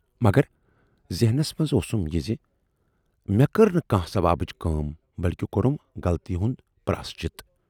مگر ذیہنَس منز اوسُم یہِ زِ"مے کٔر نہٕ کانہہ ثوابٕچ کٲم بٔلۍکہِ کورُم غلطی ہُند پراشچِت۔